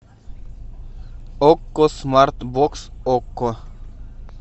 окко смарт бокс окко